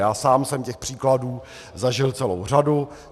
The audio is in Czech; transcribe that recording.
Já sám jsem těch příkladů zažil celou řadu.